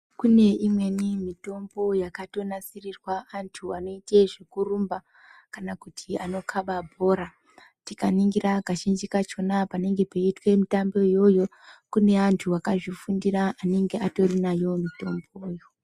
Kune imweni mitombo yakato nasirirwa antu vanoite zveku rumba, kana kuti ano khaba bhora. Tika ningira kazhinji kachona panonga pechiitwa mitambo iyoyo, kune antu akazvifundira anenga atori nayo mitomboyo.